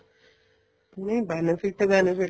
ਨਹੀਂ benefit benefit